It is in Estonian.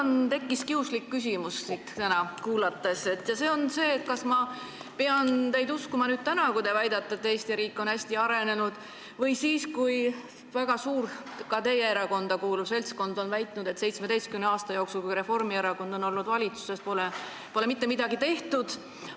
Mul tekkis teid kuulates kiuslik küsimus: kas ma pean uskuma teid, kui te väidate, et Eesti riik on hästi arenenud, või pean uskuma väga suurt, ka teie erakonda kuuluvat seltskonda, kes on väitnud, et 17 aasta jooksul, kui Reformierakond oli valitsuses, pole mitte midagi tehtud?